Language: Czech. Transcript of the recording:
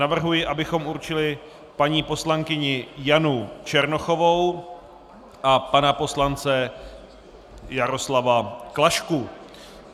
Navrhuji, abychom určili paní poslankyni Janu Černochovou a pana poslance Jaroslava Klašku.